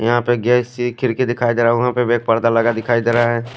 यहा पे एक गेस सी खिड़की दिखाई देरा है वहा पे वे पर्दा लगा हुआ दिखाई देरा है।